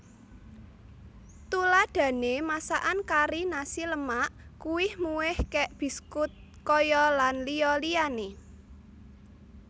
Tuladhané masakan kari nasi lemak kuih muih kek biskut kaya lan liya liyané